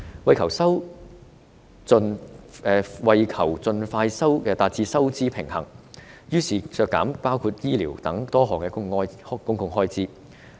為求盡快達至收支平衡，政府削減多項公共開支，包括醫療開支。